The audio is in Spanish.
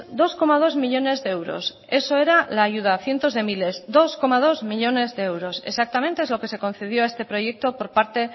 dos coma dos millónes de euros eso era la ayuda cientos de miles dos coma dos millónes de euros exactamente es lo que se concedió a este proyecto por parte